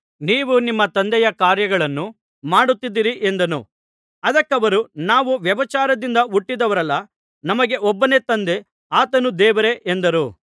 ನೀವು ನಿಮ್ಮ ತಂದೆಯ ಕಾರ್ಯಗಳನ್ನು ಮಾಡುತ್ತಿದ್ದೀರಿ ಎಂದನು ಅದಕ್ಕವರು ನಾವು ವ್ಯಭಿಚಾರದಿಂದ ಹುಟ್ಟಿದವರಲ್ಲ ನಮಗೆ ಒಬ್ಬನೇ ತಂದೆ ಆತನು ದೇವರೇ ಎಂದರು